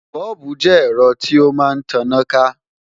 Bọ́ọ̀bù jẹ́ ẹ̀rọ tí ó máa ń taná ká